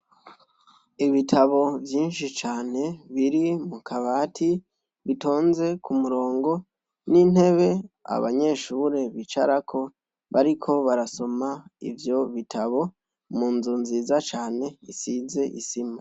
Ibitabo vyinshi cane, biri mu kabati bitonze k' umurongo n' inteb' abanyeshure bicarako bariko barasom' ivyo bitabo, munzu nziza can' isiz' isima.